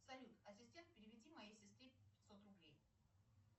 салют ассистент переведи моей сестре пятьсот рублей